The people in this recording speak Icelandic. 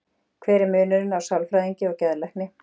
Hver er munurinn á sálfræðingi og geðlækni?